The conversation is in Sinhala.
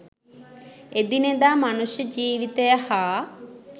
එදිනෙදා මනුෂ්‍ය ජීවිතය හා